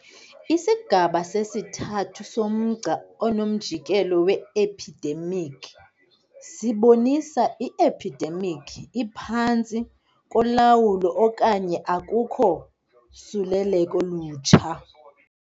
Isigaba sesithathu somgca onomjikelo we-ephidemikhi sibonisa i-ephidemikhi iphantsi kolawulo okanye akukho suleleko lutsha.